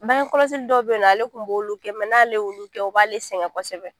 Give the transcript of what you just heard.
Bange kɔlɔsi dɔ bɛ yen nɔ ale tun b'olu kɛ n'ale y'olu kɛ u b'ale sɛgɛn kosɛbɛ